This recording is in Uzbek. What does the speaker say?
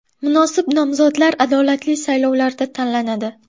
Munosib nomzodlar adolatli saylovlarda tanlanadi.